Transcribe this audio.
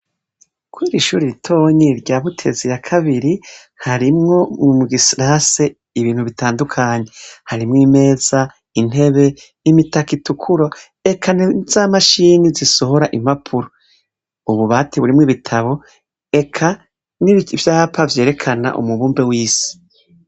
Kw'irishure ritonyi rya Butezi ya kabiri harimwo mugi sarase ibintu bitandukanye harimwo imeza, intebe, imitaka itukura eka naza mashini zisohora impapuro, ububati burimwo ibitabo eka n'ivyapa vyerekana umubumbe w'isi.